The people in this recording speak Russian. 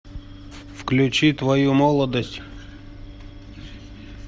включи твою молодость